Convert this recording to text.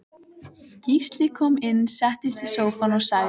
Gísli kom inn settist í sófann og sagði